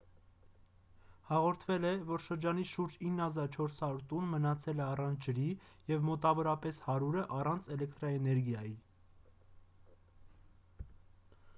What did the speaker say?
հաղորդվել է որ շրջանի շուրջ 9400 տուն մնացել է առանց ջրի և մոտավորապես 100-ը առանց էլեկտրաէներգիայի